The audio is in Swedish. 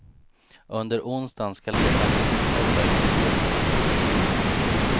Under onsdagen skall letandet fortsätta ut till två meters djup.